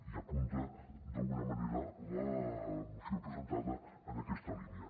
i apunta d’alguna manera la moció presentada en aquesta línia